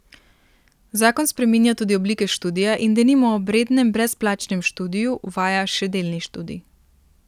Zakon spreminja tudi oblike študija in denimo ob rednem brezplačnem študiju uvaja še delni študij.